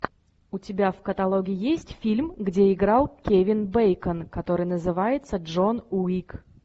у тебя в каталоге есть фильм где играл кевин бейкон который называется джон уик